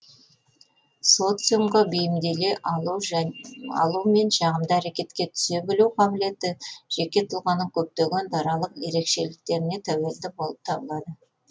социумға бейімделе алу мен жағымды әрекетке түсе білу қабілеті жеке тұлғаның көптеген даралық ерекшеліктеріне тәуелді болып табылады